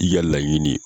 I ka laɲini ye